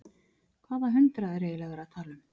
Hvaða hundrað er eiginlega verið að tala um?